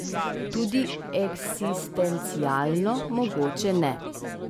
Tudi eksistencialno mogoče ne.